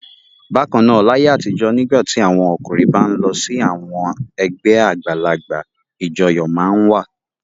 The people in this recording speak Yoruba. Bákan náà, láyé àtijọ́ nígbà tí àwọn ọkùnrin bá ń lọ sí àwọn ẹgbẹ́ àgbàlagbà ìjọyọ̀ máa ń wà.